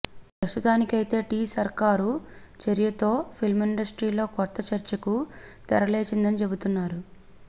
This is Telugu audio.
ప్రస్తుతానికైతే టీ సర్కారు చర్యతో ఫిలింఇండస్ట్రీలో కొత్త చర్చకు తెరలేచిందని చెబుతున్నారు